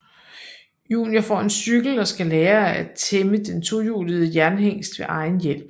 Junior får en cykel og skal lære at tæmme den tohjulede jernhingst ved egen hjælp